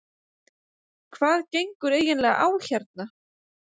Hvað gengur eiginlega á hérna?